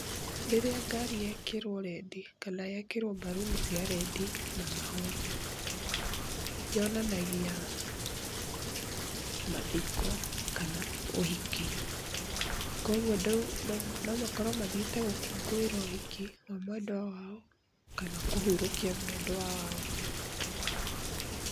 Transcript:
Rĩrĩa ngari yekĩrwo rendi kana yekĩrwo mbaruni cia rendi na mahũa, yonanagia mathiko kana ũhiki. Kwoguo nomakorwo mathiĩte gũkũngũĩra ũhiki wa mwendwa wao kana kũhurũkia mwendwa wao.